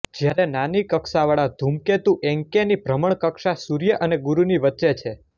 જ્યારે નાની કક્ષા વાળા ધૂમકેતુ એન્કૅની ભ્રમણકક્ષા સૂર્ય અને ગુરુની વચ્ચે છે